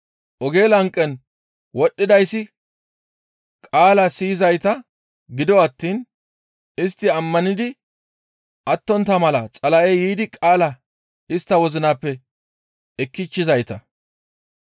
Oge lanqen wodhdhidayssi qaala siyizayta; gido attiin istti ammanidi attontta mala Xala7ey yiidi qaalaa istta wozinappe ekkichchizayta.